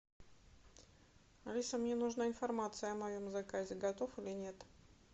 алиса мне нужна информация о моем заказе готов или нет